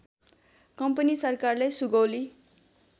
company सरकारलाई सुगौली